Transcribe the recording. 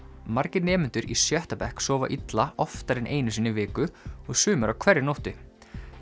margir nemendur í sjötta bekk sofa illa oftar en einu sinni í viku og sumir á hverri nóttu